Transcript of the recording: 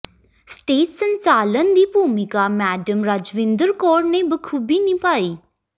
stage ਸੰਚਾਲਨ ਦੀ ਭੂਮਿਕਾ ਮੈਡਮ ਰਾਜਵਿੰਦਰ ਕੌਰ ਨੇ ਬਾਖੂਬੀ ਨਿਭਾਈ